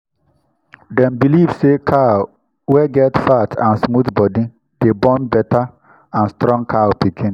dem believe say cow wey get fat and smooth body dey born better and strong cow pikin.